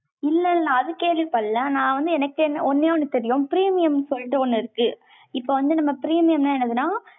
இல்லை, இல்லை, நான் அது கேள்விப்படலை. நான் வந்து, எனக்கு ஒண்ணே ஒண்ணு தெரியும். premium சொல்லிட்டு, ஒண்ணு இருக்கு வந்து நம்ம premium னா என்னதுன்னா,